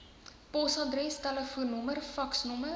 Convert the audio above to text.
posadres telefoonnommer faksnommer